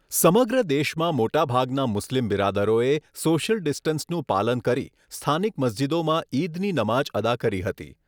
સમગ્ર દેશમાં મોટાભાગના મુસ્લીમ બિરાદરોએ સોશ્યલ ડિસ્ટન્સનું પાલન કરી સ્થાનિક મસ્જિદોમાં ઇદની નમાજ અદા કરી હતી.